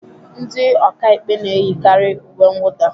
Ndi ọka ikpe n'eyikari uwe nwụda.